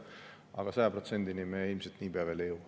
Aga 100%-ni me ilmselt nii pea veel ei jõua.